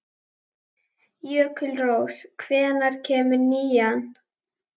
Jökulrós, hvenær kemur nían?